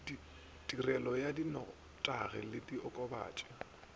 tirišo ya dinotagi le diokobatši